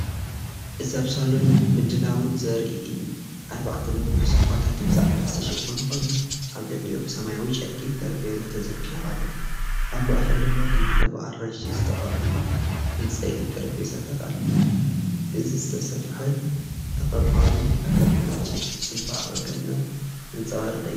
እዚ ኣብ ሳሎን፡ ምድላው ዘርኢ እዩ። ኣርባዕተ ነዊሕ ሶፋታትን ብጻዕዳ ዝተሸፈኑ ኮይኖም፡ ኣብ ልዕሊኦም ሰማያዊ ጨርቂ ጠረጴዛ ተዘርጊሑ ኣሎ። ኣብ ማእከል ድማ ክልተ ብኣራንሺ ዝተቐብኡ ዕንጨይቲ ጠረጴዛታት ኣለዉ። እዚ ዝተሰፍሐን ተቐባሊን ኣገባብ ንጽባቐ ገዛ ዘንጸባርቕ'ዩ።